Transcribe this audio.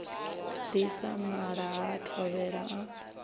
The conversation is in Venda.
disa nala ha thovhele a